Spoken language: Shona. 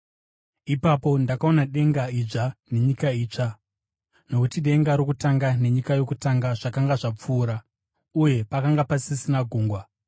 Ipapo ndakaona denga idzva nenyika itsva, nokuti denga rokutanga nenyika yokutanga zvakanga zvapfuura, uye pakanga pasisina gungwa.